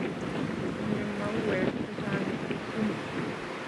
Kotinye mauwek chechang' Jeptum